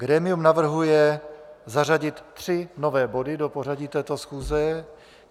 Grémium navrhuje zařadit tři nové body do pořadu této schůze.